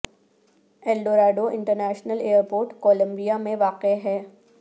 L Dorado International airport Colombia میں واقع ہے